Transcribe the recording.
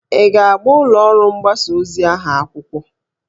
Ị ga-agba ụlọ ọrụ mgbasa ozi ahụ akwụkwọ?